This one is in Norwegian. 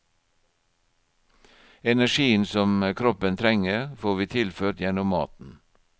Energien som kroppen trenger, får vi tilført gjennom maten.